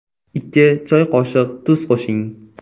Ikki choy qoshiq tuz qo‘shing.